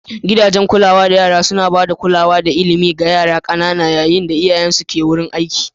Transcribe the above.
Gidajen kulawar yara suna ba da kulawa da ilimi ga yara ƙanana yayin da iyayensu ke wurin aiki.